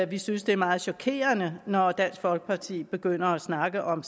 vi synes det er meget chokerende når dansk folkeparti begynder at snakke om